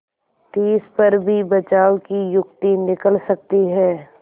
तिस पर भी बचाव की युक्ति निकल सकती है